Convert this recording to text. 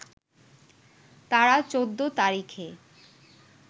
তারা ১৪ তারিখে